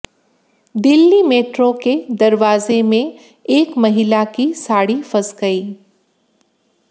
Delhi metro के दरवाजे में एक महिला की साड़ी फंस गई